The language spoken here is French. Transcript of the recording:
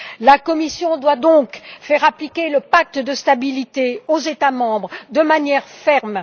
La Commission doit donc faire appliquer le pacte de stabilité aux États membres de manière ferme.